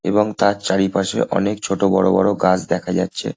এবং তার চারিপাশে অনেক ছোট বড় বড় গাছ দেখা যাচ্ছে।